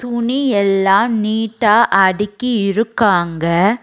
துணி எல்லாம் நீட்டா அடுக்கி இருக்காங்க.